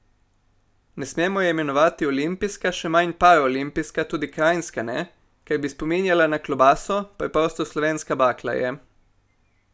Ne smemo je imenovati olimpijska, še manj paraolimpijska, tudi kranjska ne, ker bi spominjala na klobaso, preprosto slovenska bakla je.